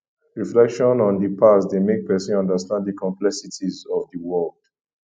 reflection on di past dey make pesin understand di complexities of di world